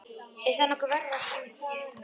Er það nokkuð verra en hvað annað?